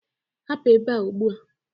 Hapụ ebe a ugbu a!